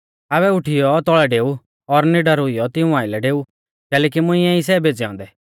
आबै उठीयौ तौल़ै डेऊ और निडर हुइयौ तिऊं आइलै डेऊ कैलैकि मुंइऐ ई सै भेज़ै औन्दै